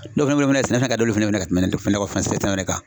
sɛnɛ fɛnɛ ka d'olu fɛnɛ ye ka tɛmɛ nakɔfɛn sɛnɛ kan.